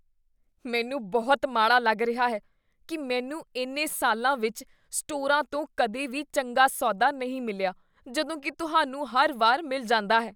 ਮੈਨੂੰ ਬਹੁਤ ਮਾੜਾ ਲੱਗ ਰਿਹਾ ਹੈ ਕੀ ਮੈਨੂੰ ਇੰਨੇ ਸਾਲਾਂ ਵਿੱਚ ਸਟੋਰਾਂ ਤੋਂ ਕਦੇ ਵੀ ਚੰਗਾ ਸੌਦਾ ਨਹੀਂ ਮਿਲਿਆ ਜਦੋਂ ਕੀ ਤੁਹਾਨੂੰ ਹਰ ਵਾਰ ਮਿਲ ਜਾਂਦਾ ਹੈ।